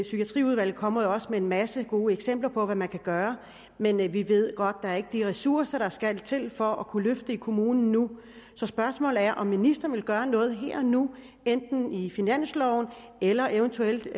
psykiatriudvalget kommer jo også med en masse gode eksempler på hvad man kan gøre men vi ved godt at der ikke er de ressourcer der skal til for at kunne løfte det i kommunen nu så spørgsmålet er om ministeren vil gøre noget her og nu enten i finansloven eller eventuelt